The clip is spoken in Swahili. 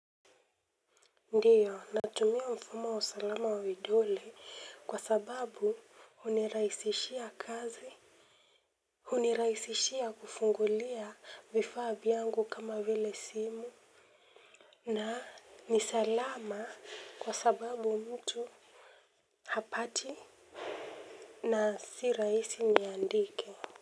Ndiyo natumia mfumo wa usalama wa vidole kwa sababu hunirahisishia kazi hunirahisishia kufungulia vifaa vyangu kama vile simu. Na ni salama kwa sababu mtu hapati. Na si rahisi niandike.